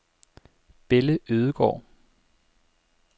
Belle Ødegård